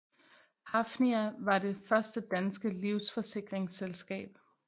Hafnia var det første danske livsforsikringsselskab